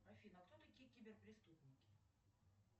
афина кто такие киберпреступники